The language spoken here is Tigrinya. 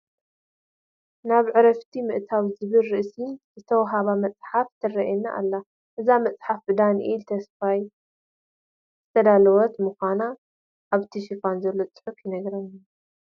ናብ ዕረፍቱ ምእታው ዝብል ርእሲ ዝተዋህባ መፅሓፍ ትርአየና ኣላ፡፡ እዛ መፅሓፍ ብዳንኤል ተስፋይ ዝተዳለወት ንምዃና ኣብ ሽፋና ዘሎ ፅሑፍ ይነግረና፡፡